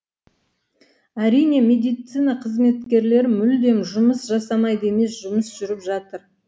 әрине медицина қызметкерлері мүлдем жұмыс жасамайды емес жұмыс жүріп жатыр